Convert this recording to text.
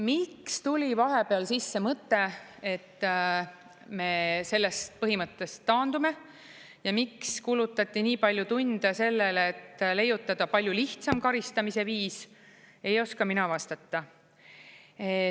Miks tuli vahepeal sisse mõte, et me sellest põhimõttest taandume, ja miks kulutati nii palju tunde sellele, et leiutada palju lihtsam karistamise viis, ei oska mina vastata.